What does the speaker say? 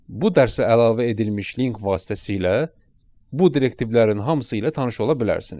Bu dərsə əlavə edilmiş link vasitəsilə bu direktivlərin hamısı ilə tanış ola bilərsiniz.